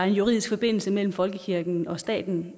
juridisk forbindelse mellem folkekirken og staten